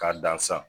K'a dan san